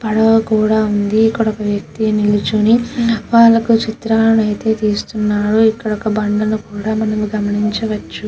ఇక్కడ ఒక వ్యక్తి నించొని వాళ్లకు చిత్రాన్న అయితే తీస్తున్నాడు. ఇక్కడొక బండను కూడా మనం గమనించవచ్చు.